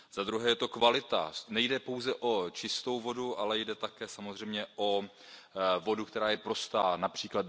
Za druhé je to kvalita, nejde pouze o čistou vodu, ale jde také samozřejmě o vodu, která je prostá např.